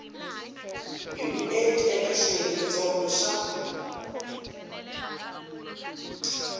hi vuenti eka xiyengentsongo xa